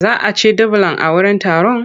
Za a ci dubulan a wurin taron?